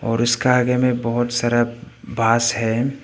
और उसका आगा में बहुत सारा बांस है।